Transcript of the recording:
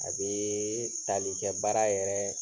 A bee tali kɛ baara yɛrɛ